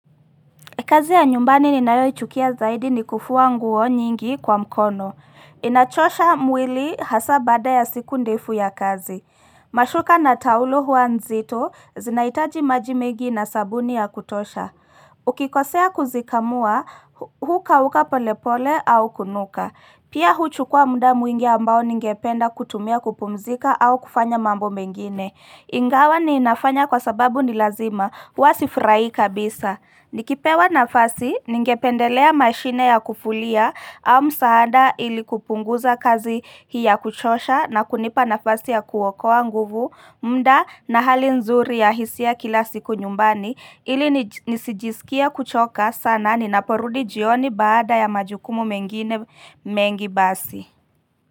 Kazi ya nyumbani ninayoi chukia zaidi ni kufuwa nguo nyingi kwa mkono. Inachosha mwili hasa baada ya siku ndefu ya kazi. Mashuka na taulo hua nzito, zinaitaji majimegi na sabuni ya kutosha. Ukikosea kuzikamua, huka huka polepole au kunuka. Pia huchukua muda mwingi ambao ningependa kutumia kupumzika au kufanya mambo mengine. Ingawa ni inafanya kwa sababu nilazima, hua sifurahii kabisa. Nikipewa nafasi ningependelea mashine ya kuvulia au msaada ili kupunguza kazi hii ya kuchosha na kunipa nafasi ya kuokoa nguvu mda na hali nzuri ya hisia kila siku nyumbani ili nisijisikie kuchoka sana ni naporudi jioni baada ya majukumu mengine mengi basi.